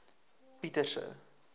pieterse